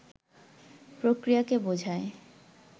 প্রক্রিয়াকে বোঝায়